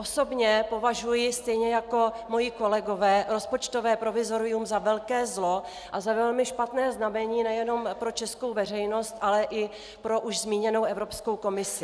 Osobně považuji stejně jako moji kolegové rozpočtové provizorium za velké zlo a za velmi špatné znamení nejenom pro českou veřejnost, ale i pro už zmíněnou Evropskou komisi.